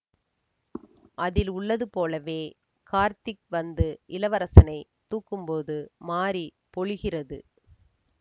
அதில் உள்ளது போலவே கார்த்திக் வந்து இளவரசனை தூக்கும் போது மாரி பொழிகிறது